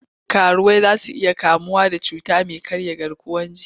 Karuwai za su iya kamuwa da cuta mai karya garkuwar jiki.